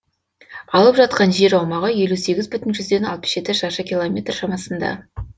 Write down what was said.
алып жатқан жер аумағы елу сегіз бүтін жүзден алпыс жеті шаршы километр шамасында